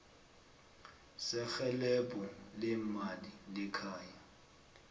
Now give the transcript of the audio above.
serhelebho leemali lekhaya